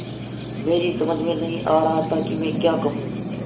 मेरी समझ में नहीं आ रहा था कि मैं क्या कहूँ